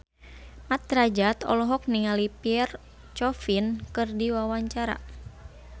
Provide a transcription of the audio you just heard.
Mat Drajat olohok ningali Pierre Coffin keur diwawancara